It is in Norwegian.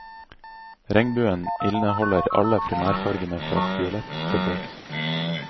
Regnbuen inneholder alle primærfargene fra fiolett til rødt.